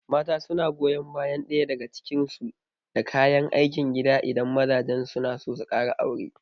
Mata suna goyon bayan ɗaya daga cikin su da kayan aikin gida idan mazajen su suna so su kara aure